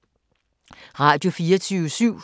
Radio24syv